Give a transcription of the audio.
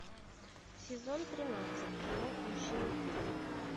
сезон тринадцать кино мужчины в деле